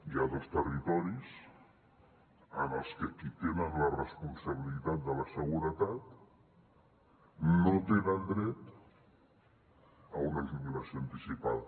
hi ha dos territoris en els que qui tenen la responsabilitat de la seguretat no tenen dret a una jubilació anticipada